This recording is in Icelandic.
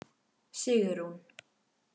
Sigrún